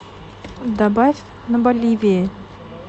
добавь на боливии